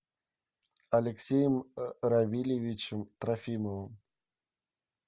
алексеем равильевичем трофимовым